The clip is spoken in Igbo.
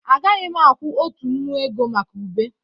A gaghị m akwụ otu nnu ego maka ube